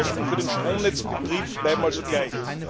Die Kosten für den Stromnetzbetrieb bleiben also gleich.